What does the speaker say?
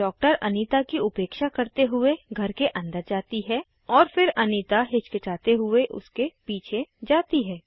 doctor Anita की उपेक्षा करते हुए घर के अंदर जाती है और फिर अनीता हिचकिचाते हुए उसके पीछे जाती है